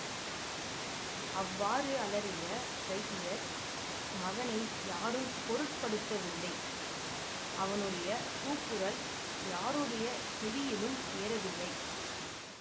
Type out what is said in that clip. அவ்வாறு அலறிய வைத்தியர் மகனை யாரும் பொருட்படுத்தவில்லை அவனுடைய கூக்குரல் யாருடைய செவியிலும் ஏறவில்லை